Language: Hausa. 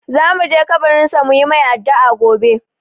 Za mu je kabarin sa mu yi mai addu'a gobe.